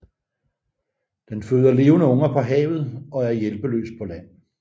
Den føder levende unger på havet og er hjælpeløs på land